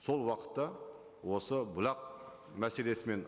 сол уақытта осы бұлақ мәселесімен